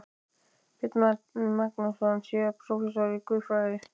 Björn Magnússon, síðar prófessor í guðfræði.